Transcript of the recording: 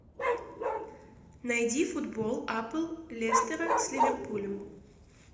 найди футбол апл лестера с ливерпулем